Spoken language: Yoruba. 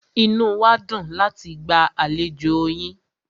Inú wá dùn láti gba àlejò yín.